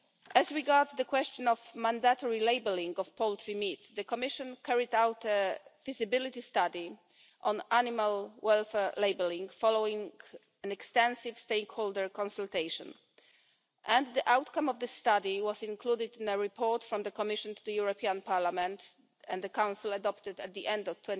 As regards the question of mandatory labelling of poultry meat, the Commission carried out a feasibility study on animal welfare labelling, following extensive stakeholder consultation, and the outcome of this study was included in a report from the Commission to the European Parliament and the Council, adopted at the